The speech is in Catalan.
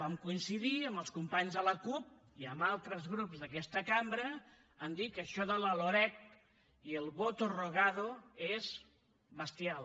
vam coincidir amb els companys de la cup i amb altres grups d’aquesta cambra a dir que això de la loreg i el voto rogado és bestial